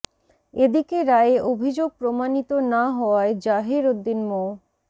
এদিকে রায়ে অভিযোগ প্রমানিত না হওয়ায় জহির উদ্দিন মো